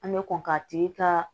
An bɛ kɔn k'a tigi ka